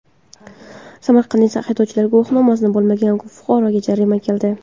Samarqandda haydovchilik guvohnomasi bo‘lmagan fuqaroga jarima keldi.